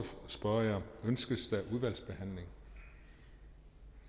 spørge jer ønskes der udvalgsbehandling